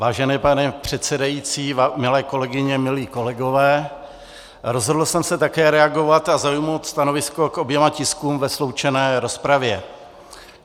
Vážený pane předsedající, milé kolegyně, milí kolegové, rozhodl jsem se také reagovat a zaujmout stanovisko k oběma tiskům ve sloučené rozpravě.